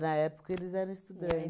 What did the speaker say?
Na época, eles eram estudantes. E aí